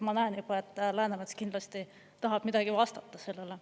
Ma näen juba, et Läänemets kindlasti tahab midagi vastata sellele.